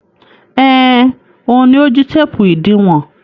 Ẹn, òun ni ó jí téépù ìdiwọn.